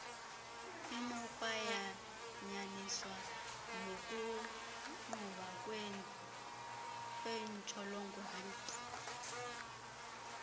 inokwayanyaniswa nokugquba kwentshjolongwane